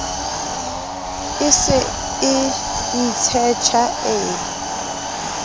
e se e itshetjha e